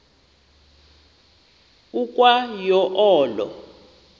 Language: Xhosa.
ukwa yo olo